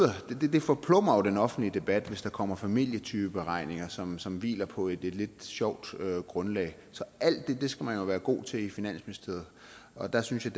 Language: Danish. jo forplumrer den offentlige debat hvis der kommer familietypeberegninger som som hviler på et lidt sjovt grundlag så alt det skal man jo være god til i finansministeriet og der synes jeg